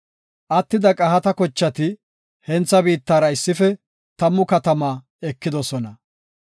Attida Qahaata kochati hentha biittara issife tammu katama ekidosona.